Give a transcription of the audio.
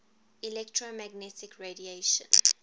electromagnetic radiation